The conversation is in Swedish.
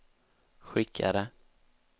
skickade